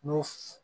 N'o